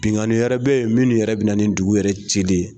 Binganni wɛrɛ bɛ ye minnu yɛrɛ bɛ na ni dugu yɛrɛ cili ye.